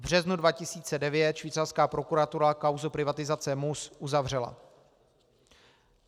V březnu 2009 švýcarská prokuratura kauzu privatizace MUS uzavřela.